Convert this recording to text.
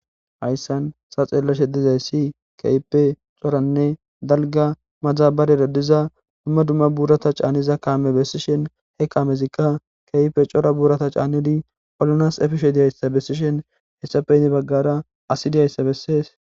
Hayisan ta xelashe dizayisi kehippe co,ranne dalga madaberera diza duma duma burata ca,nizi kame besishin he kamezika kehippe co,ra burata ca,nizi olanasi efishe dizayisa besishin hesappe hini bagara asi diyayesa besees